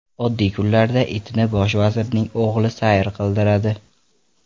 Oddiy kunlarda itni bosh vazirning o‘g‘li sayr qildiradi.